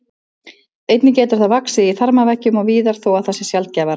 Einnig getur það vaxið í þarmaveggjum og víðar þó að það sé sjaldgæfara.